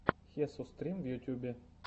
хесус стрим в ютюбе